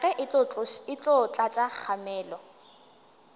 rage e tlo tlatša kgamelo